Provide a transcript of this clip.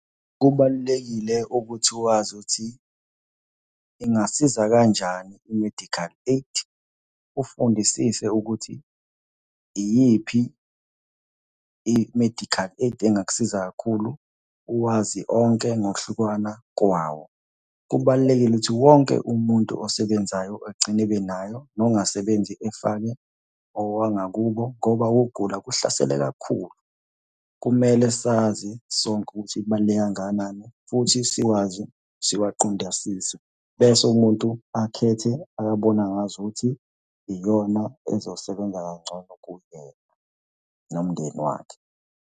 Kubalulekile ukuthi wazi ukuthi ingasiza kanjani i-medical aid. Ufundisise ukuthi iyiphi i-medical aid engakusiza kakhulu uwazi onke ngokuhlukana kwawo. Kubalulekile ukuthi wonke umuntu osebenzayo egcine ebe nayo, nongasebenzi efake owangakubo ngoba ukugula kuhlasele kakhulu. Kumele sazi sonke ukuthi kubaluleke kangakanani futhi siwazi siwaqondisise. Bese umuntu akhethe akabona ngazukuthi iyona ezosebenza kangcono kuyena nomndeni wakhe.